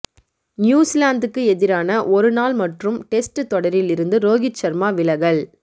நியூசிலாந்துக்கு எதிரான ஒருநாள் மற்றும் டெஸ்ட் தொடரில் இருந்து ரோகித் சர்மா விலகல்